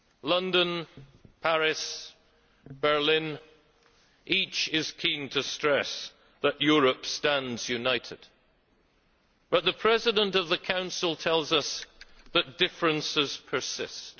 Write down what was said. London, Paris, Berlin each is keen to stress that Europe stands united, but the President of the Council tells us that differences persist.